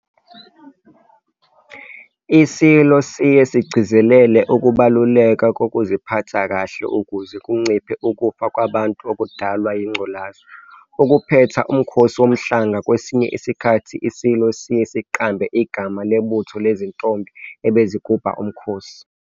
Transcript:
ISilo siye sigcizelele ukubaluleka kokuziphatha kahle ukuze kunciphe ukufa kwabantu okudalwa yingculaza. Ukuphetha uMkhosi Womhlanga kwesinye isikhathi iSilo siye siqambe igama lebutho lezintombi ebezigubha uMkhosi.